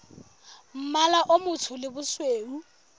mmala o motsho le bosweu